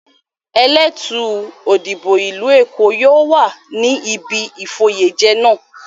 Elétùú Òdìbò ìlú Èkó yóò wà níbi ìfoyèjẹ náà.